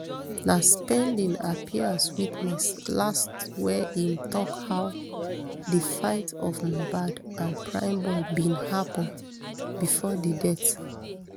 na spending appear as witness last wia im tok how di fight of mohbad and primeboy bin happun bifor di death